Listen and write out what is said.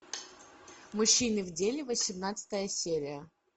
мужчины в деле восемнадцатая серия